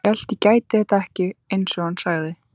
Hélt ég gæti þetta ekki, einsog hann sagði.